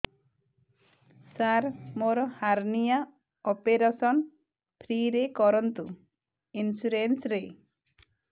ସାର ମୋର hernia operation free ରେ କରନ୍ତୁ ଇନ୍ସୁରେନ୍ସ ରେ